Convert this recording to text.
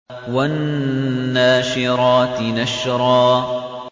وَالنَّاشِرَاتِ نَشْرًا